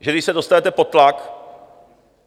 Že když se dostanete pod tlak...